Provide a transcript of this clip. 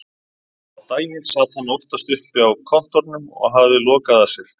Á daginn sat hann oftast uppi á kontórnum og hafði lokað að sér.